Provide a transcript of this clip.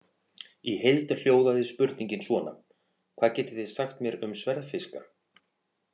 Í heild hljóðaði spurningin svona: Hvað getið þið sagt mér um sverðfiska?